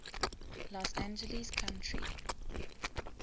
los angeles county